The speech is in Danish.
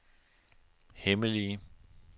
hemmelige